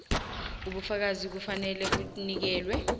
ubufakazi kufanele bunikelwe